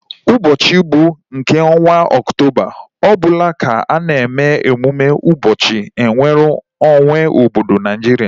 Ụbọchị mbụ nke ọnwa oktoba ọbụla ka a na eme emume ụbọchị nweru onwe obodo Naijiria